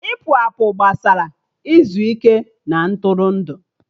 Ịpụ apụ gbasara izu ike na Ntụrụndụ